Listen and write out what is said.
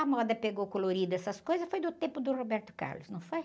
A moda pegou colorida essas coisas, foi do tempo do Roberto Carlos, não foi?